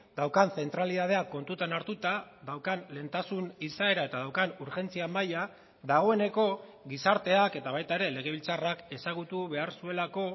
daukan zentralitatea kontutan hartuta daukan lehentasun izaera eta daukan urgentzia maila dagoeneko gizarteak eta baita ere legebiltzarrak ezagutu behar zuelako